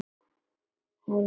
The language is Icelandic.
Hún hváði.